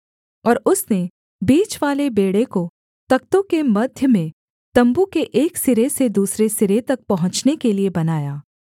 और उसने बीचवाले बेंड़े को तख्तों के मध्य में तम्बू के एक सिरे से दूसरे सिरे तक पहुँचने के लिये बनाया